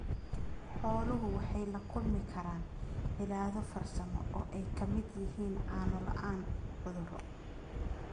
Xooluhu waxay la kulmi karaan cillado farsamo oo ay ka mid yihiin caano la'aan cudurro.